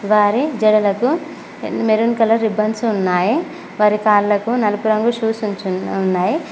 వారి జడలకు maroon colour ribbons ఉన్నాయి వారి కాళ్లకు నలుపు రంగు షూస్ ఉంచి ఉన్నాయి.